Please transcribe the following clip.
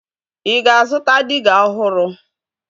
Ị ga-azụta diga ọhụrụ